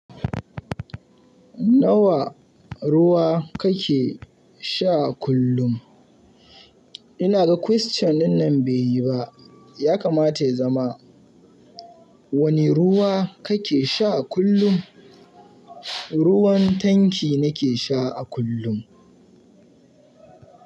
Nawa ruwa kake sha a kullum? Ina ga question dinnan bai yi ba. Yakamata ya zama wani ruwa kake sha a kullum? Ruwan tanki nake sha a kullum.